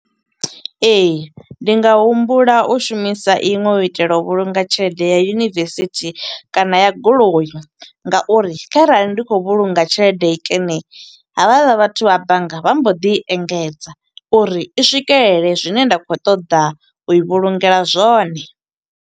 Ee, ndi nga humbula u shumisa iṅwe u itela u vhulunga tshelede ya yunivesithi kana ya goloi. Nga uri kharali ndi khou vhulunga tshelede nkene, havhaḽa vhathu vha bannga vha mbo ḓi engedza uri i swikelele zwine nda khou ṱoḓa u i vhulungela zwone.